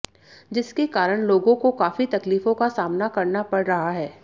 जिसके कारण लोगों को काफी तकलीफों का सामना करना पड़ रहा है